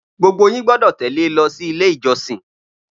Gbogbo yín gbọdọ̀ tẹ̀lé e lọ sí ile ijosin!